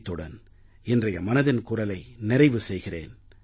இத்துடன் இன்றைய மனதின் குரலை நிறைவு செய்கிறேன்